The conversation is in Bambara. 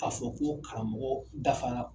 K'a fɔ ko karamɔgɔw dafara